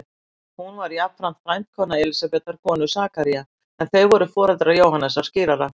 Hún var jafnframt frændkona Elísabetar konu Sakaría, en þau voru foreldrar Jóhannesar skírara.